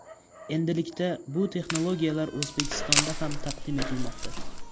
Endilikda, bu texnologiyalar O‘zbekistonda ham taqdim etilmoqda.